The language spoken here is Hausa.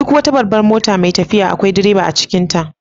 Duk wata babban mota mai tafiya akwai direba a cikinta.